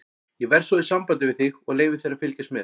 Ég verð svo í sambandi við þig og leyfi þér að fylgjast með.